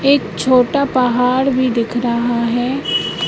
एक छोटा पहाड़ भी दिख रहा है।